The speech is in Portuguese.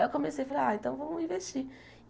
Aí eu comecei a falar, ah, então vamos investir.